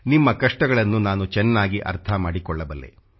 ನಿಮ್ಮ ಕಷ್ಟಗಳನ್ನು ನಾನು ಚೆನ್ನಾಗಿ ಅರ್ಥ ಮಾಡಿಕೊಳ್ಳಬಲ್ಲೆ